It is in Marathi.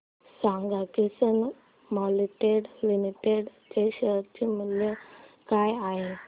सांगा किसान मोल्डिंग लिमिटेड चे शेअर मूल्य काय आहे